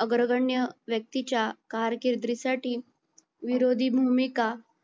आग्रगन्य व्यक्तीच्या कारकिर्दीसाठी विरोधी भूमिका